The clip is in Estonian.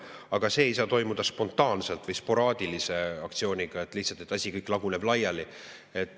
Ent see ei saa toimuda spontaanselt ja sporaadilise aktsioonina, nii et asi laguneb laiali.